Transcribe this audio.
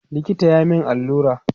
likita ya min allura